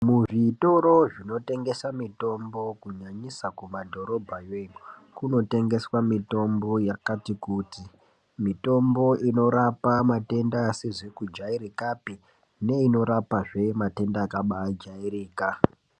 Zvitoro zvinotengesa mitombo kunyanyisa kumadhorobhayo iyo, kunotengeswa mitombo yakati kuti. Mitombo inorapa matenda asizi kujairikapi neinorapazve matenda akabaajairika.